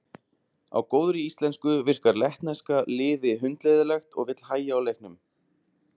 Á góðri íslensku virkar lettneska liði hundleiðinlegt og vill hægja á leiknum.